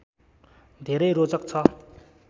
धेरै रोचक छ